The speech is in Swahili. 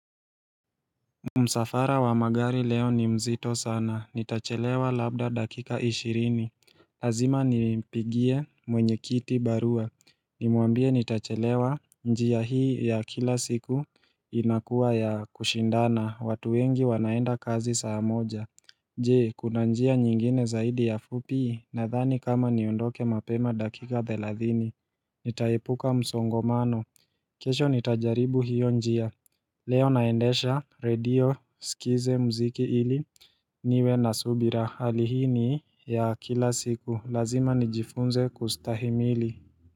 Msafara wa magari leo ni mzito sana. Nitachelewa labda dakika ishirini. Lazima nimpigie mwenyekiti barua. Nimwambie nitachelewa. Njia hii ya kila siku inakuwa ya kushindana. Watu wengi wanaenda kazi saa moja. Je, kuna njia nyingine zaidi ya fupi?. Nadhani kama niondoke mapema dakika thelathini. Nitaepuka msongomano. Kesho nitajaribu hiyo njia. Leo naendesha redio nisikize mziki ili niwe na subira hali hii ni ya kila siku lazima nijifunze kustahimili.